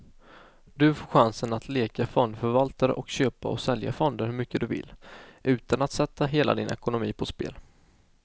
Du får chansen att leka fondförvaltare och köpa och sälja fonder hur mycket du vill, utan att sätta hela din ekonomi på spel.